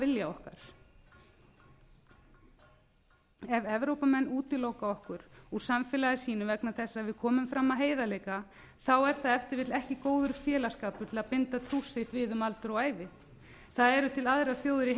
vilja okkar ef evrópumenn útiloka okkur úr samfélagi sínu vegna þess að við komum fram af heiðarleika er það ef til vill ekki góður félagsskapur til að binda trúss sitt við um aldur og ævi það eru til aðrar þjóðir í